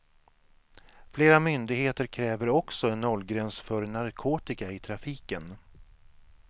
Flera myndigheter kräver också en nollgräns för narkotika i trafiken.